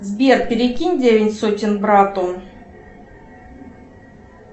сбер перекинь девять сотен брату